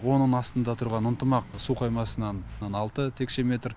оның астында тұрған ынтымақ су қоймасынан алты текше метр